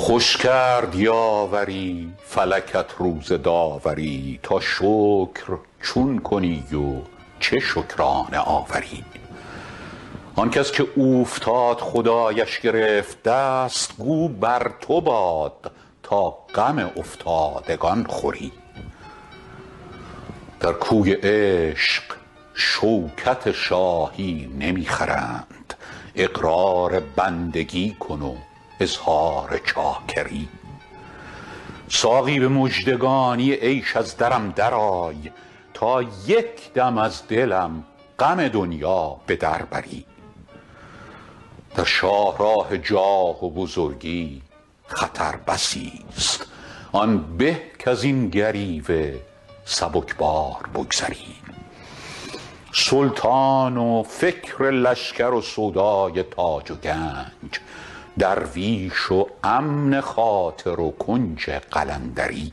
خوش کرد یاوری فلکت روز داوری تا شکر چون کنی و چه شکرانه آوری آن کس که اوفتاد خدایش گرفت دست گو بر تو باد تا غم افتادگان خوری در کوی عشق شوکت شاهی نمی خرند اقرار بندگی کن و اظهار چاکری ساقی به مژدگانی عیش از درم درآی تا یک دم از دلم غم دنیا به در بری در شاه راه جاه و بزرگی خطر بسی ست آن به کز این گریوه سبک بار بگذری سلطان و فکر لشکر و سودای تاج و گنج درویش و امن خاطر و کنج قلندری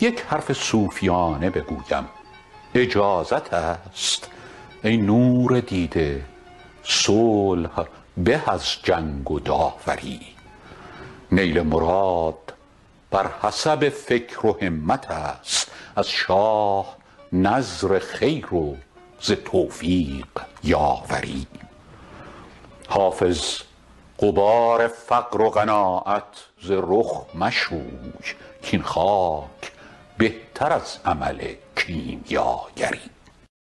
یک حرف صوفیانه بگویم اجازت است ای نور دیده صلح به از جنگ و داوری نیل مراد بر حسب فکر و همت است از شاه نذر خیر و ز توفیق یاوری حافظ غبار فقر و قناعت ز رخ مشوی کاین خاک بهتر از عمل کیمیاگری